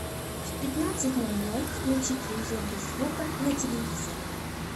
в пятнадцать ноль ноль включить режим без звука на телевизоре